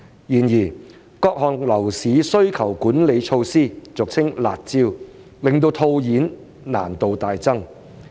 然而，各項樓市需求管理措施令套現難度大增。